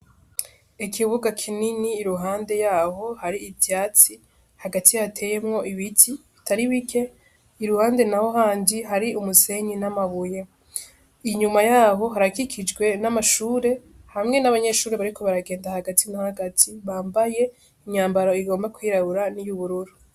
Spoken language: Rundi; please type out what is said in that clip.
Ikibuga kinini i ruhande yaho hari ivyatsi, hagati hateyemwo ibiti bitari bike, iruhande, naho handi hari umusenyi n'amabuye, inyuma yaho harakikijwe n'amashure hamwe n'abanyeshuri bariko baragenda hagati na hagati bambaye imyambaro igomba kwirabura n'iyubururu.